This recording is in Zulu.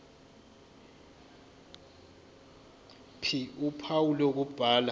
ph uphawu lokubhala